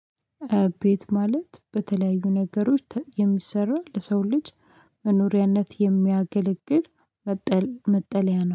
ቤት ማለት በተለያዩ ነገሮች የሚሰራ ለሰው ልጅ መኖሪያነት የሚያገለግል መጠለያ ነው።